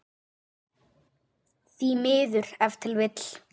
Því miður ef til vill?